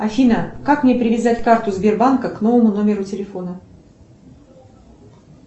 афина как мне привязать карту сбербанка к новому номеру телефона